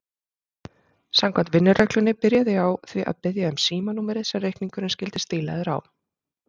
Samkvæmt vinnureglunni byrjaði ég á því að biðja um símanúmerið sem reikningurinn skyldi stílaður á.